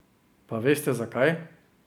Pa veste, zakaj?